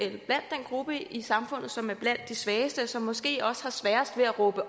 en gruppe i samfundet som er blandt de svageste og som måske også har sværest ved at råbe